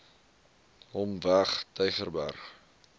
hom weg tygerberg